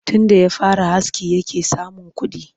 Tunda ya fara aski yake samun kuɗi